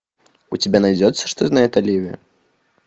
у тебя найдется что знает оливия